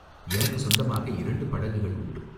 எனக்குச் சொந்தமாக இரண்டு படகுகள் உண்டு.